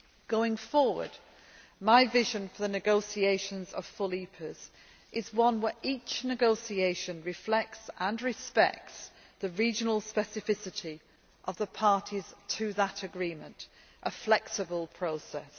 Going forward, my vision for the negotiations of full EPAs is one where each negotiation reflects and respects the regional specificity of the parties to that agreement a flexible process.